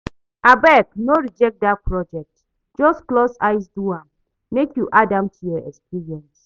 Abeg no reject dat project, just close eye do am make you add am to your experience